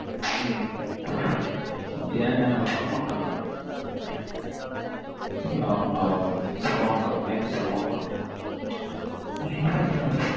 உம் ஏ name Salman Khan mam. Salman Khan name Salman Khan